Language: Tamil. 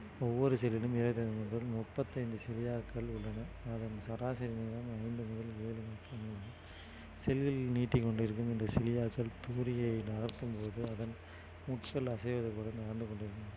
ஒவ்வொரு செல்லிலும் இருபத்து ஐந்து முதல் முப்பத்தி ஐந்து உள்ளன அதன் சராசரி வீதம் ஐந்து முதல் ஏழு meter நீளம் செல்லில் நீட்டிக் கொண்டிருக்கும் இந்த தூரிகையை நகர்த்தும் போது அதன் நடந்து கொண்டிருக்கிறது